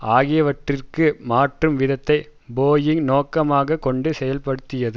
ஆகியவற்றிற்கு மாற்றும் விதத்தை போயிங் நோக்கமாக கொண்டு செயல்படுத்தியது